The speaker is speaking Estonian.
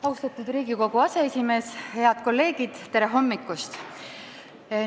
Austatud Riigikogu aseesimees, head kolleegid, tere hommikust!